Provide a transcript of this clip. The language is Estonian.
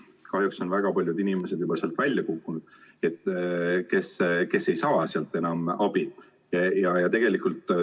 Kahjuks on väga paljud inimesed juba välja kukkunud, nad ei saa sealt enam abi.